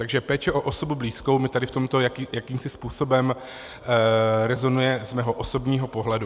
Takže péče o osobu blízkou mi tady v tomto jakýmsi způsobem rezonuje z mého osobního pohledu.